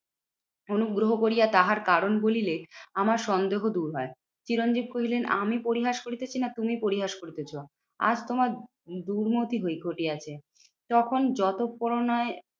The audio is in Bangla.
অনুগ্রহ করিয়া তাহার কারণ বলিলে আমার সন্দেহ দূর হয়। চিরঞ্জিত কহিলেন আমি পরিহাস করিতেছি না তুমি পরিহাস করিতেছ? আর তোমার দূর্মতি হয় ঘটিয়াছে। তখন যতপরোনায়